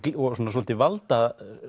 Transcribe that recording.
svolítið